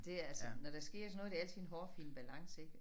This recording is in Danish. Det er altså når der sker sådan noget er det altid en hårfin balance ik